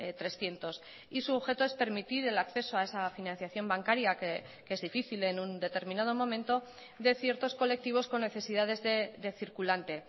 trescientos y su objeto es permitir el acceso a esa financiación bancaria que es difícil en un determinado momento de ciertos colectivos con necesidades de circulante